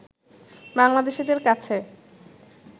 বাংলাদেশিদের কাছে